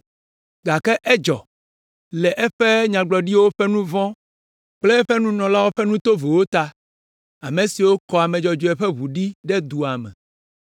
Gake edzɔ, le eƒe Nyagblɔɖilawo ƒe nu vɔ̃ kple eƒe nunɔlawo ƒe nu tovowo ta, ame siwo kɔ ame dzɔdzɔewo ƒe ʋu ɖe dua me.